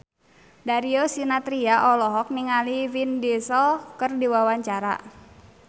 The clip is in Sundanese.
Darius Sinathrya olohok ningali Vin Diesel keur diwawancara